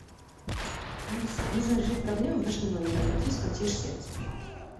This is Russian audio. алиса нужно решить проблему в нашем номере обратись в консьерж сервис пожалуйста